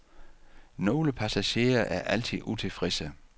Nogle passagerer er altid utilfredse.